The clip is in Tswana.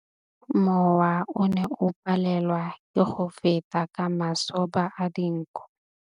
Mowa o ne o palelwa ke go feta ka masoba a dinko.